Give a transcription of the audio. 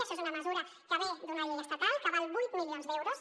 això és una mesura que ve d’una llei estatal que val vuit milions d’euros